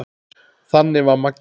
Þannig var Maggi.